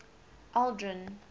aldrin